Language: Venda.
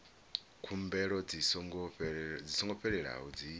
khumbelo dzi songo fhelelaho dzi